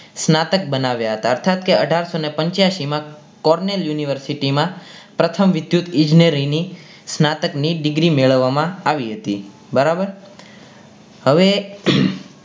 સ્ત્નાતક બનાવ્યા હતા અર્થાત કે અઢારસો ને પંચ્યાસી માં Cornell University માં પ્રથમ વિદ્યુત ઈજનેરી ની સ્ત્નાતક ની degree મેળવવામાં આવી હતી બરાબર હવે